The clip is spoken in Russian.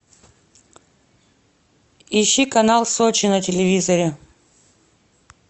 ищи канал сочи на телевизоре